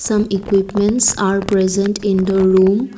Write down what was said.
Some equipments are present in the room.